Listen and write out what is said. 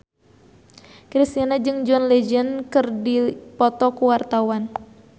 Kristina jeung John Legend keur dipoto ku wartawan